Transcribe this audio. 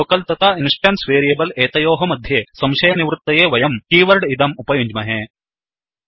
local तथा instance variable एतयोः मध्ये संशयनिवृत्तये वयं कीवर्ड् इदम् उपयुञ्ज्महे